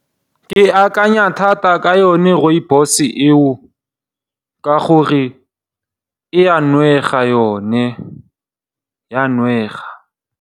Ke akanya thata ka yone Rooibos eo ka gore e a nwega yone, ya nwega.